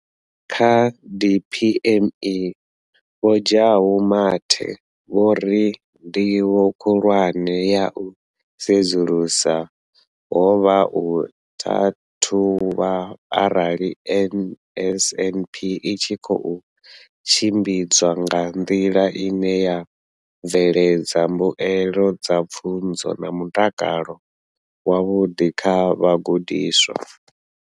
Kha DPME, Vho Jabu Mathe, vho ri ndivho khulwane ya u sedzulusa ho vha u ṱhaṱhuvha arali NSNP i tshi khou tshimbidzwa nga nḓila ine ya bveledza mbuelo dza pfunzo na mutakalo wavhuḓi kha vhagudiswa.